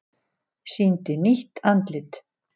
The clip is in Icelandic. Sýndi nýtt andlit